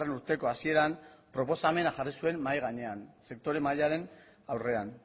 urteko hasieran proposamena jarri zuen mahai gainean sektoreen mahaiaren aurrean